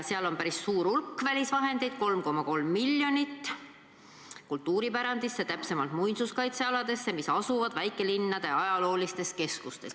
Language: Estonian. Seal on päris suur hulk välisvahendeid – 3,3 miljonit – kultuuripärandi hoidmiseks väikelinnade ajaloolistes keskustes.